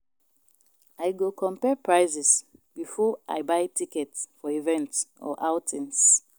I go compare prices before I buy tickets for events or outings.